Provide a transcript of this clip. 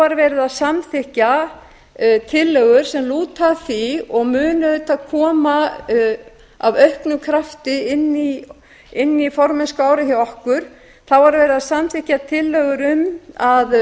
á um daginn voru samþykktar tillögur sem lúta að því og munu auðvitað koma af auknum krafti inn í formennskuárið hjá okkur þá var verið að samþykkja tillögur um að